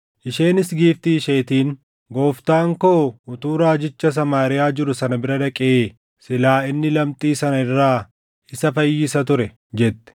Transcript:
Isheenis giiftii isheetiin, “Gooftaan koo utuu raajicha Samaariyaa jiru sana bira dhaqee silaa inni lamxii sana irraa isa fayyisa ture!” jette.